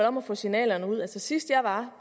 om at få signalerne ud altså sidst jeg var